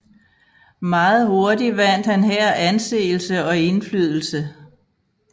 Meget hurtig vandt han her anseelse og indflydelse